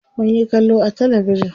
Munyi kallo a talabijin.